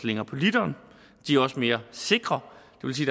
længere på literen de er også mere sikre